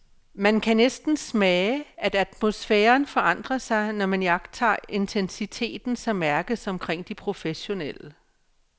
Man kan næsten smage, at atmosfæren forandrer sig, når man iagttager intensiteten, som mærkes omkring de professionelle.